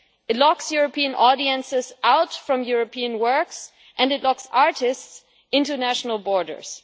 It locks European audiences out from European works and it locks artists' international borders.